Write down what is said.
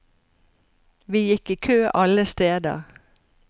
Vi gikk i kø alle steder.